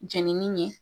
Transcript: Jenini ye